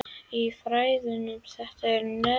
Í fræðunum er þetta nefnt aðlögun.